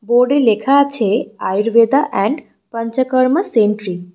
বোর্ডে লেখা আছে আয়ুর্ভেদা এন্ড পঞ্চকর্মা সেন্ট্রি ।